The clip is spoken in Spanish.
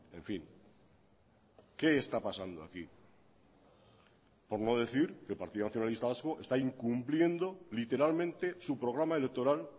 en fin qué está pasando aquí por no decir que el partido nacionalista vasco está incumpliendo literalmente su programa electoral